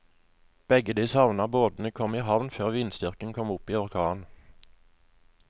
Begge de savnede båtene kom i havn før vindstyrken kom opp i orkan.